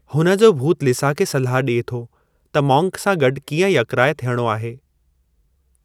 हुन जो भूतु लिसा खे सलाह ॾिए थो त मॉन्क सां गॾु कीअं यकराइ थियणो आहे।